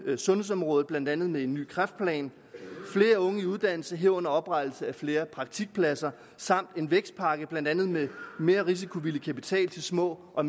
sundhedsområdet blandt andet med en ny kræftplan flere unge i uddannelse herunder oprettelse af flere praktikpladser samt en vækstpakke blandt andet med mere risikovillig kapital til små og